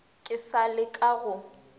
ke sa le ka go